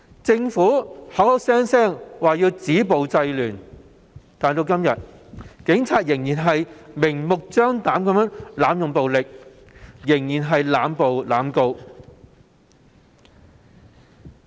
政府聲稱要止暴制亂，但警隊至今仍然明目張膽地濫用暴力，仍然在濫捕和濫告。